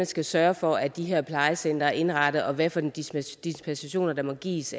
skal sørge for at de her plejecentre er indrettet og hvad for en dispensation der må gives